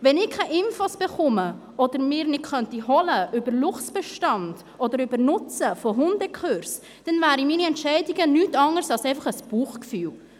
Wenn ich keine Informationen erhalte oder sie mir nicht holen könnte, über den Luchsbestand oder über den Nutzen von Hundekursen, dann wären meine Entscheidungen nichts anderes als einfach ein Bauchgefühl.